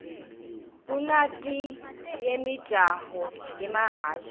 kunatieyimijaho yemahhashi